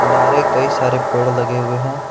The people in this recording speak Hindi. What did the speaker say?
कई सारे पेड़ लगे हुए हैं।